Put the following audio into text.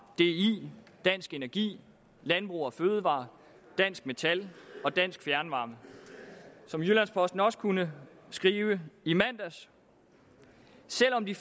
di dansk energi landbrug fødevarer dansk metal og dansk fjernvarme som jyllands posten også kunne skrive i mandags selv om de